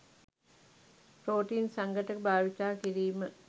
protein සංඝටක භාවිතා කිරිම